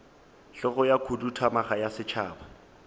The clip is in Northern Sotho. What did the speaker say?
hlogo ya khuduthamaga ya setšhaba